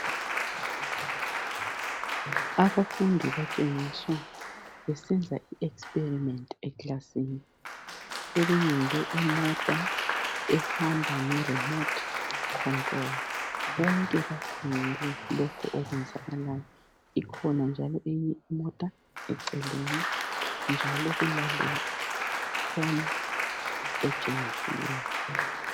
Abafundi batshengiswa besenza i experiment' ekilasini. Sebeyenze imota ehamba ngerimothi control bonke bakhangela lokhu okwenzakalayo. Ikhona njalo eyinye imota eceleni njalo kulalefoni etshengisiweyo.